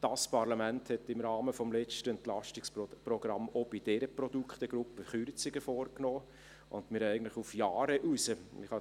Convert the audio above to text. Das Parlament hat im Rahmen des letzten Entlastungsprogramms auch bei dieser Produktgruppe Kürzungen vorgenommen, und wir haben eigentlich die Mittel auf Jahre hinaus bereits verplant;